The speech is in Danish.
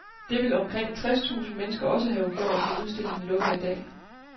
Det vil omkring tres tusind mennesker også have gjort, når udstillingen lukker i dag.